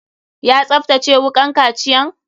Ya tsaftace wukan kaciyan?